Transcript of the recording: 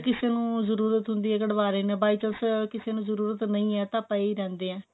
ਜੇ ਕਿਸੇ ਨੂੰ ਜਰੂਰਤ ਹੁੰਦੀ ਹੈ ਕਢਵਾ ਲੇਂਦੇ ਹਾਂ by chance ਕਿਸੇ ਨੂੰ ਜਰੂਰਤ ਨਹੀਂ ਹੈ ਤਾਂ ਪਏ ਰਹਿੰਦੇ ਐ